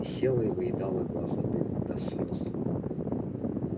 и села и выедала глаза дымом до слёз